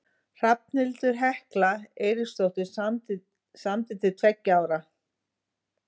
Hrafnhildur Hekla Eiríksdóttir samdi til tveggja ára.